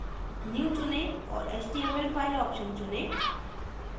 new चुनें और html file option चुनें